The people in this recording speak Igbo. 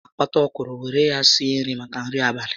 A ga m akpata ọkwụrụ were ya sie ofe maka nri abalị